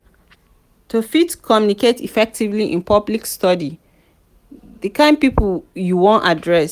to fit communicate effectively in public study di kind pipo you won address